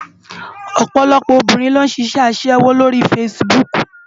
Òpòlòpò óbirin ló n ṣiṣè aṣèwó ló ri fásibúk